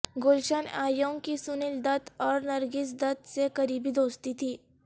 گلشن Ewing کی سنیل دت اور نرگس دت سے قریبی دوستی تھی